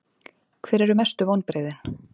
Hver eru mestu vonbrigðin?